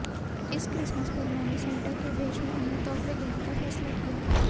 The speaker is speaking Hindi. इस क्रिसमस पर मैंने सेंटा के भेष में उन्हें तोहफे देने का फैसला किया